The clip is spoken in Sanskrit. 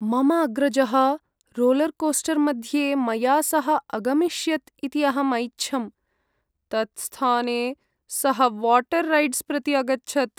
मम अग्रजः रोलर्कोस्टर्मध्ये मया सह अगमिष्यत् इति अहं ऐच्छम्, तत्स्थाने सः वाटर् रैड्स् प्रति अगच्छत्।